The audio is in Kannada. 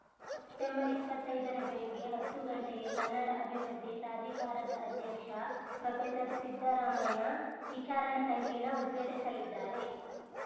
ಸೆಪ್ಟೆಂಬರ್ ಇಪ್ಪತ್ತೈದರ ಬೆಳಗ್ಗೆ ಹತ್ತುಗಂಟೆಗೆ ಕನ್ನಡ ಅಭಿವೃದ್ಧಿ ಪ್ರಾಧಿಕಾರದ ಅಧ್ಯಕ್ಷ ಪ್ರೊಫೆಸರ್ಸಿದ್ದರಾಮಯ್ಯ ವಿಚಾರ ಸಂಕಿರಣ ಉದ್ಘಾಟಿಸಲಿದ್ದಾರೆ